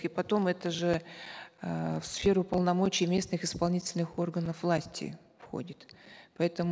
и потом это же э в сферу полномочий местных исполнительных органов власти входит поэтому